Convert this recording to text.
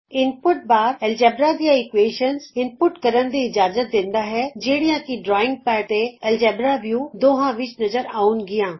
ਇਨ ਪੁਟ bar ਤੁਹਾਨੂੰ algebra ਦੀਆਂ equations ਪਾਉਣ ਦੀ ਇਜ਼ਾਜਤ ਦਿੰਦਾ ਹੈ ਜਿਹੜੀਆਂ ਕਿ ਡਰਾਇੰਗ ਪੈਡ ਤੇ ਐਲਜਬਰਾ ਵਿਊ ਦੋਹਾਂ ਵਿਚ ਨਜ਼ਰ ਆਉਣਗੀਆਂ